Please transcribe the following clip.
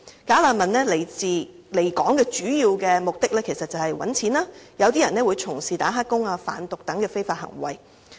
"假難民"來港的主要目的是賺錢，有些人會從事"打黑工"或販毒等非法行為。